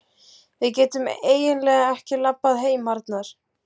Við getum eiginlega ekki labbað heim, Arnar.